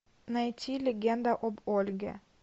найти легенда об ольге